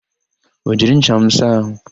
I jiri ncha m saa àhụ́?